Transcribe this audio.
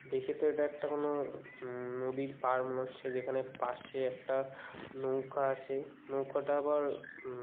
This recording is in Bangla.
দেখে তো একটা কোনো উম নদীর পার মনে হচ্ছে যেখানে পাশে একটা নৌকা আছে নৌকোটা আবার উম--